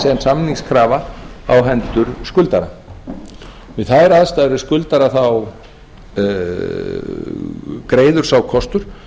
sem samningskrafa á hendur skuldara við þær aðstæður er skuldari greiður sá kostur